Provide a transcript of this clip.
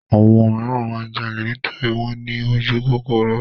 Àwọn míràn máa ń jalè nítorí wọ́n ní ojúkòkòrò.